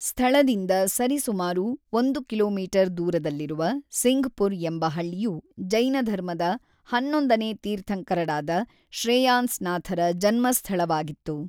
ಸ್ಥಳದಿಂದ ಸರಿಸುಮಾರು ಒಂದು ಕಿಲೋಮೀಟರ್ ದೂರದಲ್ಲಿರುವ ಸಿಂಘ್ಪುರ್ ಎಂಬ ಹಳ್ಳಿಯು ಜೈನಧರ್ಮದ ಹನ್ನೊಂದನೇ ತೀರ್ಥಂಕರರಾದ ಶ್ರೇಯಾಂಸ್‌ನಾಥರ ಜನ್ಮಸ್ಥಳವಾಗಿತ್ತು.